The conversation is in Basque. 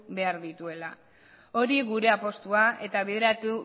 behar dituela hori gure apustua eta bideratu